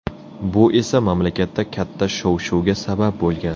Bu esa mamlakatda katta shov-shuvga sabab bo‘lgan.